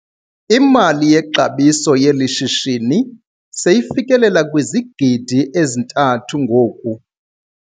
Imali yexabiso yeli shishini seyifikelela kwizigidi ezithathu ngoku.